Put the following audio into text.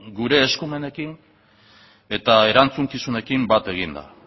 gure eskumenekin eta erantzukizunekin bat eginda